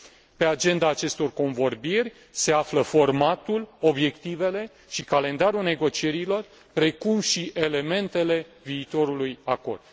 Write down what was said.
Pe agenda acestor convorbiri se află formatul, obiectivele și calendarul negocierilor, precum și elementele viitorului acord.